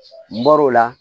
N bɔr'o la